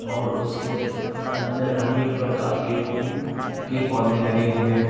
और उसके अंदर अनेक प्रकार के फूल के पौधे लगे हुए हैं।